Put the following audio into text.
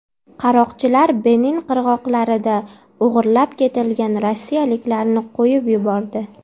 Qaroqchilar Benin qirg‘oqlarida o‘g‘irlab ketilgan rossiyaliklarni qo‘yib yubordi.